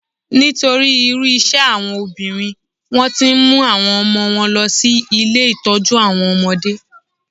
Nítorí irú iṣẹ́ àwọn obìnrin, wón ti ń mú àwọn ọmọ wọn lọ sí ilé Ìtọ́jú àwọn ọmọdé.